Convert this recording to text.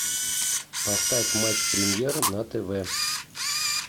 поставь матч премьер на тв